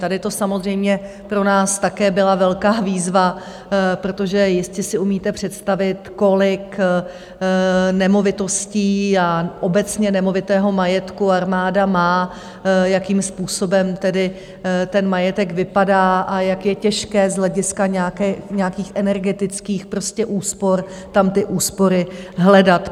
Tady to samozřejmě pro nás také byla velká výzva, protože jestli si umíte představit, kolik nemovitostí a obecně nemovitého majetku armáda má, jakým způsobem tedy ten majetek vypadá a jak je těžké z hlediska nějakých energetických úspor tam ty úspory hledat.